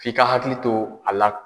F'i ka hakili to a la.